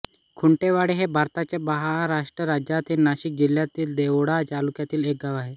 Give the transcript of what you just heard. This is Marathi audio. खुंटेवाडी हे भारताच्या महाराष्ट्र राज्यातील नाशिक जिल्ह्यातील देवळा तालुक्यातील एक गाव आहे